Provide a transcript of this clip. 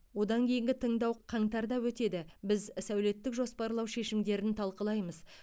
одан кейінгі тыңдау қаңтарда өтеді біз сәулеттік жоспарлау шешімдерін талқылаймыз